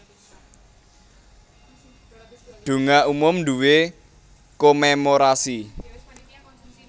Donga Umum nduwé Komémorasi